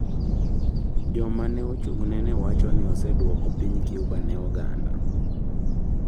Joma ne ochung’ne ne wacho ni osedwoko piny Cuba ne oganda.